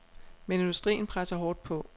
Men industrien presser hårdt på.